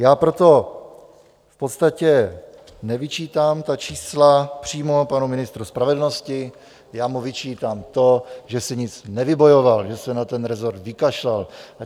Já proto v podstatě nevyčítám ta čísla přímo panu ministru spravedlnosti, já mu vyčítám to, že si nic nevybojoval, že se na ten resort vykašlal.